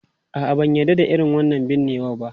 A'a, ban yarda da irin wannan binnewa ba.